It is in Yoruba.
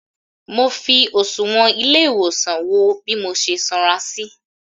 Mọ fi òsùwọ́n ilé ìwòsàn wo bí mo ṣe sanra sí.